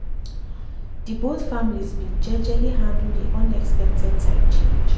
dey both families been jejely handle dey unexpected time change.